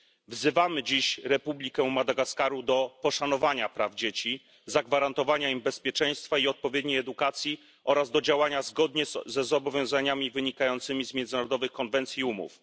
Wzywamy dziś Republikę Madagaskaru do poszanowania praw dzieci, zagwarantowania im bezpieczeństwa i odpowiedniej edukacji oraz do działania zgodnie z zobowiązaniami wynikającymi z międzynarodowych konwencji i umów.